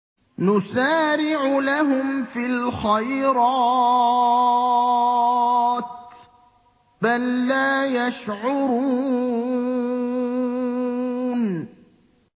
نُسَارِعُ لَهُمْ فِي الْخَيْرَاتِ ۚ بَل لَّا يَشْعُرُونَ